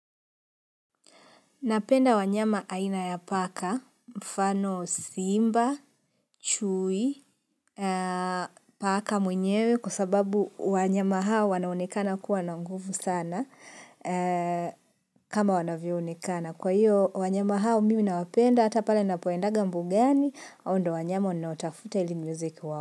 Napenda wanyama aina ya paka, mfano simba, chui, paka mwenyewe kwa sababu wanyama hawa wanaonekana kuwa na nguvu sana kama wanavyoonekana kwa hiyo, wanyama hao mimi nawapenda, hata pale napoendaga mbugani, haondio wanyama ninaotafuta ili niweze kuwao.